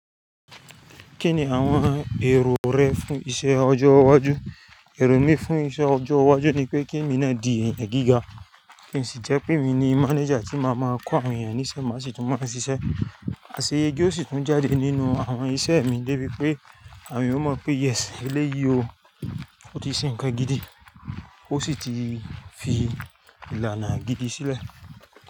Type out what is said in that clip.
Kí ni àwọn èrò rẹ fún iṣẹ ọjọ́ iwájú? Èrò mi fún iṣẹ́ ọjọ́ iwájú ni pé kí emi ná di èèyàn gíga, kí n sì jẹ́ pé emi ni manager tí máa máa kọ́ àwọn èèyàn níṣe má sì tún máa ṣiṣẹ́. Aṣeyẹge ó sì tún jáde nínú àwọn iṣẹ́ mi debi pé àwọn eeyan mọ̀ pé yes eléyìí o, o ti ṣe nnkan gidi, o sì ti fi ìlànà gidi sílẹ̀